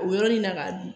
O yɔrɔ in na k'a dun